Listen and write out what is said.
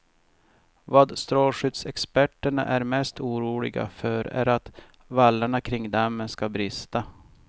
Vad strålskyddsexperterna är mest oroliga för är att vallarna kring dammen ska brista.